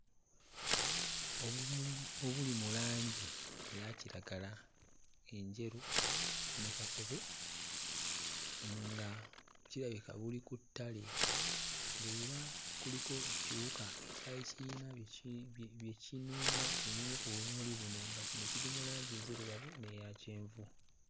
Obumuli obuli mu langi eya kiragala enjeru ne kakobe nga kirabika buli ku ttale. Era kuliko ekiwuka ekyali kiyina bye ki bye kinuuna ku bumuli buno nga kino kiri mu langi nzirugavu n'eya kyenvu.